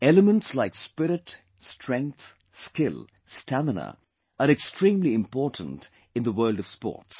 Elements like spirit, strength, skill, stamina are extremely important in the world of sports